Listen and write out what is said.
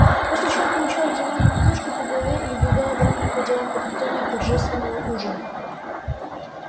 после чего получал диванной подушкой по голове и убегал обратно по делам подготовки торжественного ужина